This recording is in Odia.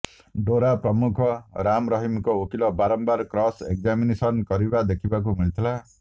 ଡେରା ପ୍ରମୁଖ ରାମ ରହିମଙ୍କ ଓକିଲ ବାରମ୍ବାର କ୍ରସ୍ ଏକ୍ଜାମିନେସନ୍ କରିବା ଦେଖିବାକୁ ମିଳିଥିଲା